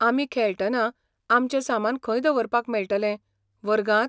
आमी खेळटना आमचें सामान खंय दवरपाक मेळटलें, वर्गांत?